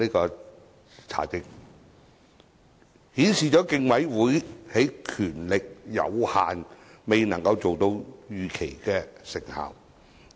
這在在顯示競委會權力有限，因此未能達到預期效果。